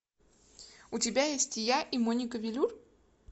у тебя есть я и моника велюр